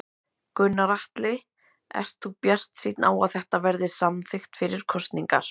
Gunnar Atli: Ert þú bjartsýnn á að þetta verði samþykkt fyrir kosningar?